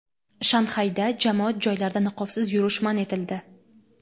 Shanxayda jamoat joylarida niqobsiz yurish man etildi.